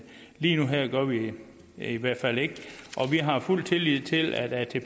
lige nu og her gør vi vi i hvert fald ikke vi har fuld tillid til at